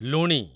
ଲୁଣି